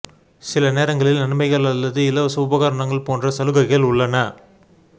சில நேரங்களில் நன்மைகள் அல்லது இலவச உபகரணங்கள் போன்ற சலுகைகள் உள்ளன